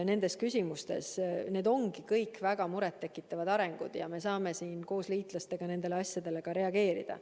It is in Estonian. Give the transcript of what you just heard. Need ongi kõik väga muret tekitavad arengud ja me saame koos liitlastega nendele asjadele reageerida.